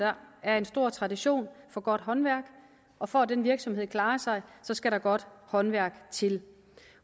er en stor tradition for godt håndværk og for at den virksomhed skal klare sig skal der godt håndværk til